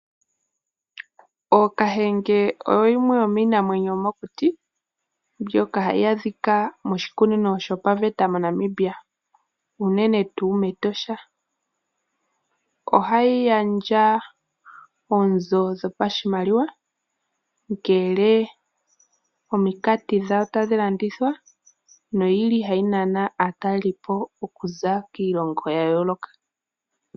Ookahengee oyoyimwe yomiinamwenyo yomokuti mbyoka hayaadhika moshikunino shopaveta mo Namibia. Unene tuu meTosha, ohayigandja oonzo dhopashimaliwa ngele ominkati dhawo tadhi landitwa. Noyili hayi Nana aatalelipo okuza kiilongo yayooloka.